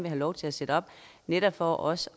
have lov til at sætte op netop for også